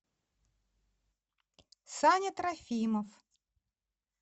саня трофимов